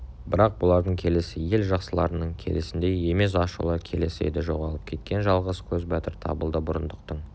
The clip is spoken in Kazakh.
бірақ бұлардың келісі ел жақсыларының келісіндей емес ашулы келіс еді жоғалып кеткен жалғыз көзбатыр табылды бұрындықтың